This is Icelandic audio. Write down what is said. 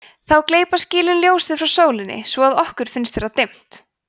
þá gleypa skýin ljósið frá sólinni svo að okkur finnst vera dimmt